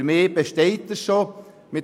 Für mich besteht das Angebot bereits.